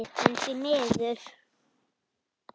En því miður.